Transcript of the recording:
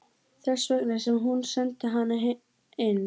Þess vegna sem hún sendi hana inn.